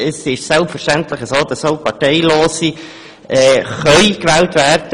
Selbstverständlich können auch Parteilose gewählt werden.